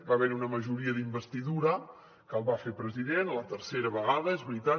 va haver hi una majoria d’investidura que el va fer president la tercera vegada és veritat